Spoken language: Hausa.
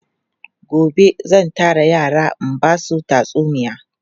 Gobe zan tara yara in ba su tatsuniya.